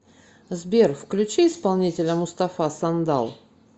сбер включи исполнителя мустафа сандал